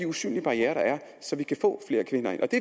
usynlige barrierer der er så vi kan få flere kvinder ind og det